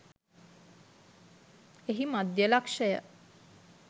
එහි මධ්‍ය ලක්ෂය